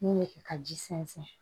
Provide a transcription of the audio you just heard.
N'u ye kɛ ka ji sɛnsɛn